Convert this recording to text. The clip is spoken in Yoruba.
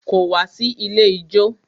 Kò wá sí ilé ijó.